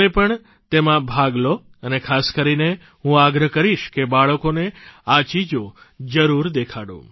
તમે પણ તેમાં ભાગ લો અને ખાસ કરીને હું આગ્રહ કરીશ કે બાળકોને આ ચીજો જરૂર દેખાડો